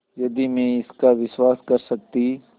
यदि मैं इसका विश्वास कर सकती